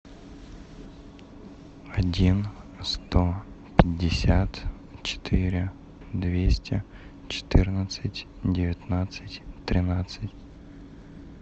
один сто пятьдесят четыре двести четырнадцать девятнадцать тринадцать